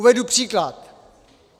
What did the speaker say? Uvedu příklad.